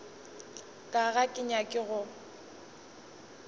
ka ga ke nyake go